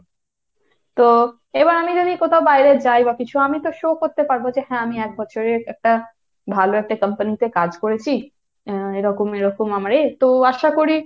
তো, এবার আমি যদি কোথাও বাইরে যাই বা কিছু আমি তো show করতে পারবো যে হ্যাঁ, আমি এক বছরের একটা ভালো একটা company তে কাজ করেছি আহ এরকম এরকম আমার এ, তো আশা করি,